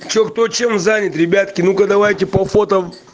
что кто чем занят ребятки ну-ка давайте по фото